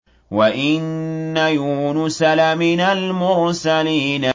وَإِنَّ يُونُسَ لَمِنَ الْمُرْسَلِينَ